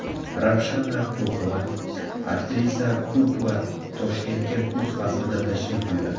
Ravshana Kurkova, aktrisa Kurkova Toshkentga kuz faslida tashrif buyuradi.